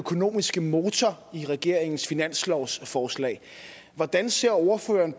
økonomiske motor i regeringens finanslovsforslag hvordan ser ordføreren